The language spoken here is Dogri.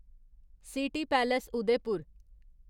city palace Udaipur